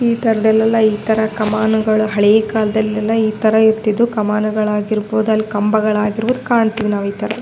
ಈ ತರ್ದಲೆಲ್ಲ ಇತರ ಕಮಾನುಗಳು ಹಳೆ ಕಾಲದಲೆಲ್ಲ ಈ ತಾರಾ ಇರ್ತಿದ್ವು ಕಮಾನುಗಳಾಗಿರಬಹುದು ಕಂಬಗಳಾಗಿರಬಹುದು ಕಾಣುತ್ತೇವ್ ನಾವಿತರ .